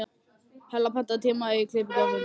Hella, pantaðu tíma í klippingu á fimmtudaginn.